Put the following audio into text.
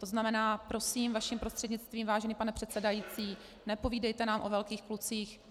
To znamená, prosím - vaším prostřednictvím, vážený pane předsedající - nepovídejte nám o velkých klucích.